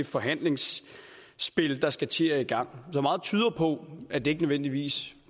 forhandlingsspil der skal til at gå i gang så meget tyder på at det ikke nødvendigvis